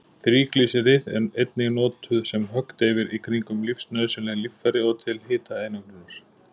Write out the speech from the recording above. Þríglýseríð eru einnig notuð sem höggdeyfir í kringum lífsnauðsynleg líffæri og til hitaeinangrunar.